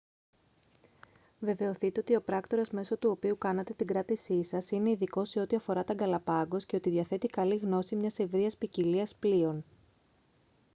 βεβαιωθείτε ότι ο πράκτορας μέσω του οποίου κάνατε την κράτησή σας είναι ειδικός σε ό,τι αφορά τα γκαλαπάγκος και ότι διαθέτει καλή γνώση μιας ευρείας ποικιλίας πλοίων